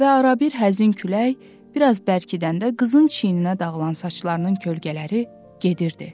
Və arabir həzin külək bir az bərkidəndə qızın çiyninə dağılan saçlarının kölgələri gedirdi.